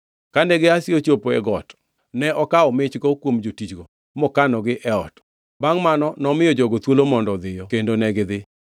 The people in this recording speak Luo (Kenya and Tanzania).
Kane Gehazi ochopo e got, ne okawo michgi kuom jotichgo mokanogi e ot. Bangʼ mano nomiyo jogo thuolo mondo odhiyo kendo negidhi.